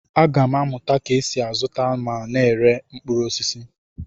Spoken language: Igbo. Aga m amụta ka esi azụta na ire mkpụrụ osisi.